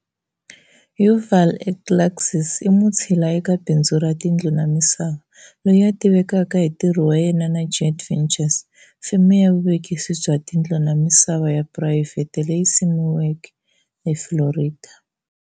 Yuval Elkeslasi i mutshila eka bindzu ra tindlu na misava, loyi a tivekaka hi ntirho wa yena na Jade Ventures, feme ya vuvekisi bya tindlu na misava ya phurayivhete leyi simiweke eFlorida.